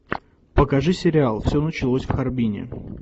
покажи сериал все началось в харбине